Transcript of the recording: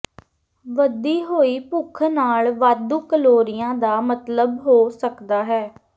ਵਧੀ ਹੋਈ ਭੁੱਖ ਨਾਲ ਵਾਧੂ ਕਲੋਰੀਆਂ ਦਾ ਮਤਲਬ ਹੋ ਸਕਦਾ ਹੈ